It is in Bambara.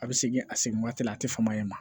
A bɛ segin a segin waati la a tɛ fama ye